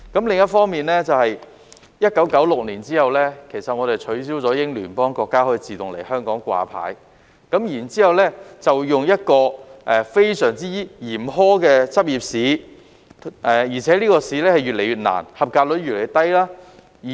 另一方面，自1996年後，我們取消英聯邦國家醫生可以在香港自動掛牌的安排，然後採用一個非常嚴苛的執業試，而且這個考試越來越難、及格率越來越低。